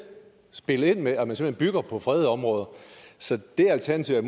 spillet ind med at man simpelt hen bygger på fredede områder så det alternativet